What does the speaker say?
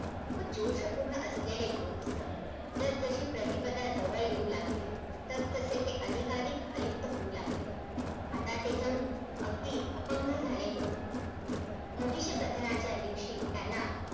एका अर्थाने साऱ्या महाराष्ट्राला जोडणारा हा महामार्ग होणार आहे महाराष्ट्राचे कोकण पश्चिम महाराष्ट्र मराठवाडा आणि विदर्भ हे चारी प्रांत अनेक